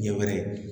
Ɲɛ wɛrɛ